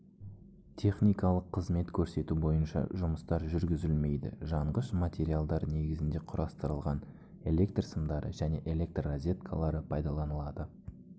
техникалық қызмет көрсету бойынша жұмыстар жүргізілмейді жанғыш материалдар негізінде құрастырылған электр сымдары және электррозеткалары пайдаланылады